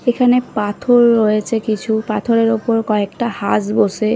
এখানে পাথর রয়েছে কিছু পাথরের ওপর কয়েকটা হাঁস বসে ।